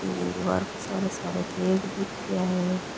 इहेन दीवार के सहारा सहारा पेड़ दिखरिया है।